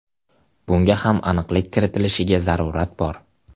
Bunga ham aniqlik kiritilishiga zarurat bor.